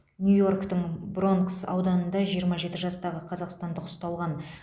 нью йорктің бронкс ауданында жиырма жеті жастағы қазақстандық ұсталған